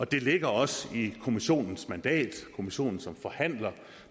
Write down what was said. det ligger også i kommissionens mandat kommissionen som forhandler